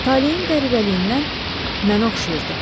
Talehin qəribəliyindən mənə oxşayırdı.